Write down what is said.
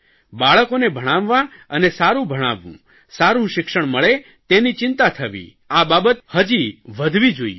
બાળકોને ભણાવવાં અને સારૂં ભણાવવું સારૂં શિક્ષણ મળે તેની ચિંતા થવી હજી વધવી જોઇએ